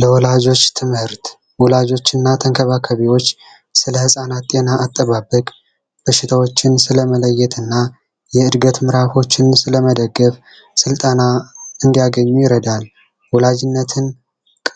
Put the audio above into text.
የወላጆች ትምህርት ወላጆችና ተንከባካቤዎች ስለ ህጻናት ጤና አጠባበቅ በሽታዎችን ስለመለየትና የዕድገት መዕራፎችን ስለመደገፍ ስልጠና እንዲያገኙ ይረዳል። ወላጅነትን